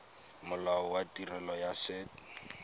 molao wa tirelo ya set